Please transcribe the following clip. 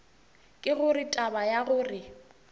ke gore taba ya gore